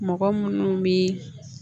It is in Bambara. Mɔgɔ munnu bi